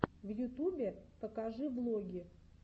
в ютубе покажи влоги